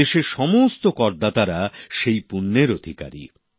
দেশের সমস্ত সৎ করদাতারা সেই পুণ্যের অধিকারী